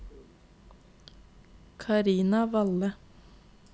Karina Valle